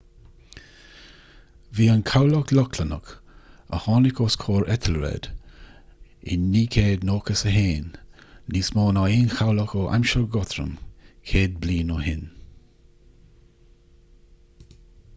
bhí an cabhlach lochlannach a tháinig os comhair ethelred i 991 níos mó ná aon chabhlach ó aimsir guthrum céad bliain ó shin